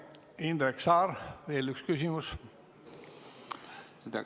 Indrek Saar, veel üks küsimus!